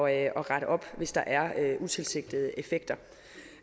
at rette op hvis der er utilsigtede effekter